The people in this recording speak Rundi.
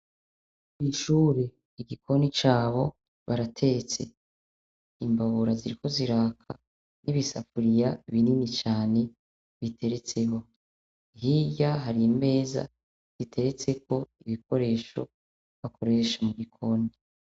Kw'ishure, igikoni cabo baratetse imbabura ziriko ziraka n'ibisafuriya binini cyane biteretseho, hirya harimeza biteretse ko ibikoresho bakoresha mu gikoni.